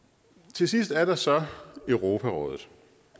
til sidst er der så europarådet